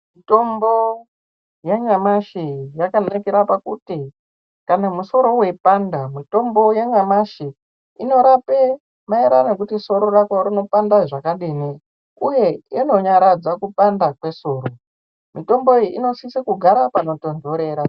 Mitombo yanyamashi yakanakira kuti kana musoro weipanda mitombo yanyamashi inorapa maererano kuti musoro wako unopanda zvakadini uye inonyaradza kupanda kwesoro unosisa kugara panotondorera.